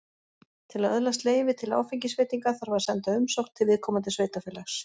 Til að öðlast leyfi til áfengisveitinga þarf að senda umsókn til viðkomandi sveitarfélags.